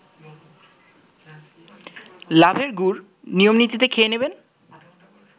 লাভের গুড় নিয়মনীতিতে খেয়ে নেবে